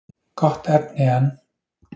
Gott efni en.